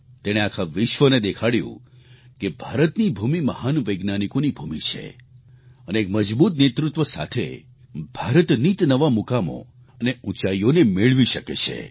તેણે આખા વિશ્વને દેખાડ્યું કે ભારતની ભૂમિ મહાન વૈજ્ઞાનિકોની ભૂમિ છે અને એક મજબૂત નેતૃત્વ સાથે ભારત નીતનવા મુકામો અને ઉંચાઈઓને મેળવી શકે છે